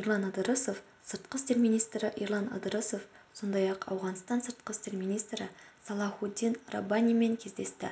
ерлан ыдырысов сыртқы істер министрі ерлан ыдырысов сондай-ақ ауғанстан сыртқы істер министрі салахуддин раббанимен кездесті